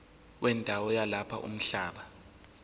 wendawo yalapho umhlaba